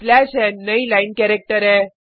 slash n नई line character है